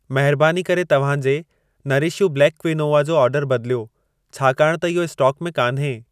महरबानी करे तव्हां जे नरिश यू ब्लैक क्विनोआ जो ऑर्डर बदिलियो, छाकाण त इहो स्टोक में कान्हे।